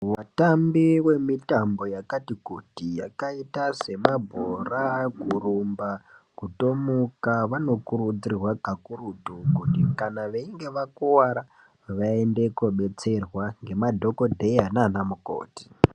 Vatambi wemitambo yakati kuti, yakaita semabhora, kurumba, kutomuka vanokurudzirwa karutu kuti kana veinge vakuwara vaende kobetserwa ngemadhokodheya nana mukoti.